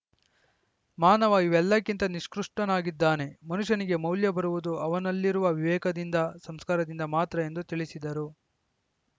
ಮಾನವ ಇವೆಲ್ಲಕ್ಕಿಂತ ನಿಕೃಷ್ಟನಾಗಿದ್ದಾನೆ ಮನುಷ್ಯನಿಗೆ ಮೌಲ್ಯ ಬರುವುದು ಅವನಲ್ಲಿರುವ ವಿವೇಕದಿಂದ ಸಂಸ್ಕಾರದಿಂದ ಮಾತ್ರ ಎಂದು ತಿಳಿಸಿದರು